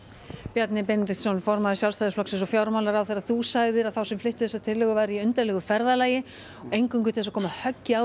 Bjarni Benediktsson formaður Sjálfstæðisflokks og fjármálaráðherra þú sagðir þá sem fluttu þessa tillögu vera í undarlegu ferðalagi eingöngu til að koma höggi á